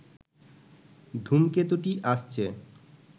ধূমকেতুটি আসছে